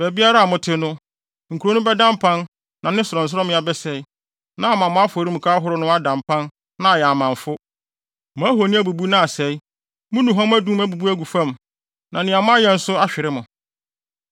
Baabiara a mote no, nkurow no bɛda mpan na ne sorɔnsorɔmmea bɛsɛe, na ama mo afɔremuka ahorow no ada mpan na ayɛ amamfo, mo ahoni abubu na asɛe, mo nnuhuam adum abubu agu fam, na nea moayɛ nso ahwere mo.